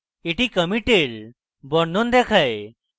এটি কমিটের বর্ণন দেখায়